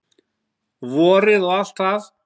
Vorið og allt það.